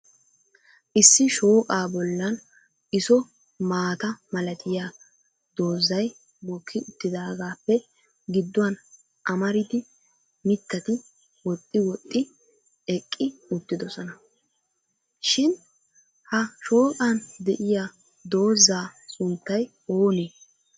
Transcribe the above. Issi shooqaa bollan isso maata malatiyaa doozay mokki uttidaagappe giduwaan amaridi mittati woxxi woxxidi eqqi uttidoosona. Shin ha shooqqan de'iyaa dooza sunttay oonee?